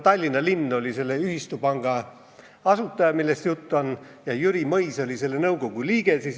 Tallinna linn oli selle ühistupanga asutaja, millest jutt on, ja Jüri Mõis oli selle nõukogu liige.